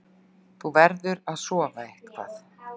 Þú verður að sofa eitthvað.